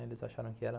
Eles acharam que era